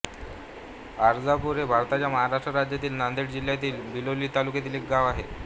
आरजापूर हे भारताच्या महाराष्ट्र राज्यातील नांदेड जिल्ह्यातील बिलोली तालुक्यातील एक गाव आहे